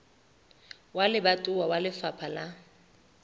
wa lebatowa wa lefapha la